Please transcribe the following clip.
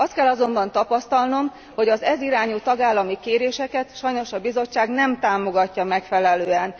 Azt kell azonban tapasztalnom, hogy az ez irányú tagállami kéréseket sajnos a Bizottság nem támogatja megfelelően.